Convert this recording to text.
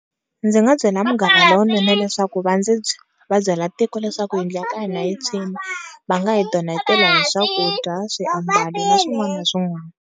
Ndzi nga byela munghana lonene leswaku va ndzi va byela tiko leswaku yindlu ya ka hina yi tshwini, va nga hi donetela hi swakudya, swiambalo, na swin'wana na swin'wana.